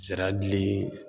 Zira dili